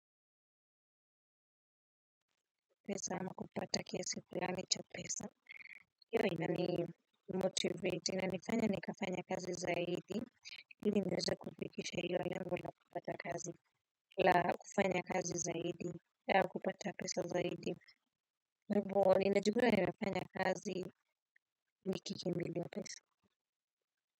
Pesa ama kupata kiasi fulani cha pesa. Hiyo, inanimotivate, inanifanya nikafanye kazi zaidi. Ili niweze kufikisha hilo lengo la kupata kazi. La, kufanya kazi zaidi. Ya kupata pesa zaidi. Kwa hivo, ninajikuta nimefanya kazi nikikimbilia pesa.